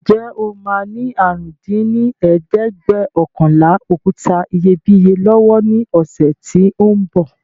Ǹjẹ́ o máa ní àrún dín ní ẹ̀ẹ́dẹ́gbẹ́ọ̀kànlá òkúta iyebíye lọ́wọ́ ní ọ̀sẹ̀ tí ó ń bọ̀